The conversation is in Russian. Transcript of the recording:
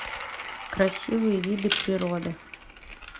красивые виды природы